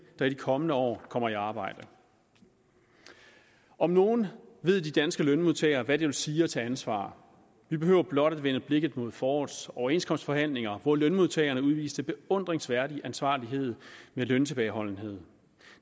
kommende år kommer i arbejde om nogen ved de danske lønmodtagere hvad det vil sige at tage ansvar vi behøver blot at vende blikket mod forårets overenskomstforhandlinger hvor lønmodtagerne udviste beundringsværdig ansvarlighed med løntilbageholdenhed